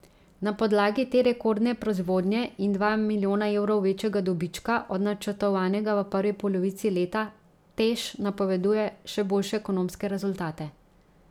Na podlagi te rekordne proizvodnje in dva milijona evrov večjega dobička od načrtovanega v prvi polovici leta, Teš napoveduje še boljše ekonomske rezultate.